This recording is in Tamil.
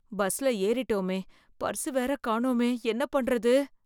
பஸ்ல ஏறிட்டோமே பர்ஸ் வேற காணோமே என்ன பண்றது?